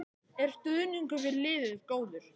Er stuðningur við liðið góður?